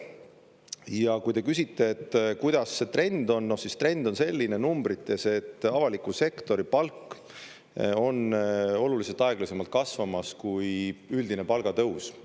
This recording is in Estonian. Ja kui te küsite, et kuidas see trend on, siis trend on selline numbrites, et avaliku sektori palk on oluliselt aeglasemalt kasvamas kui üldine palgatõus.